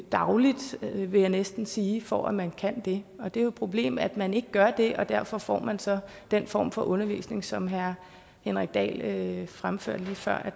dagligt vil jeg næsten sige for at man kan det og det er jo et problem at man ikke gør det og derfor får man så den form for undervisning som herre henrik dahl fremførte lige før og